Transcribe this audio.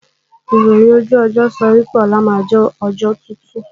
Ìròhìn ojú ọjọ́ sọ wí pé, ọlá máa jẹ́ ọjọ́ tútù